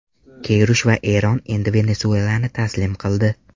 Keyrush va Eron endi Venesuelani taslim qildi.